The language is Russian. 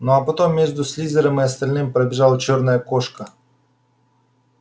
ну а потом между слизерином и остальными пробежала чёрная кошка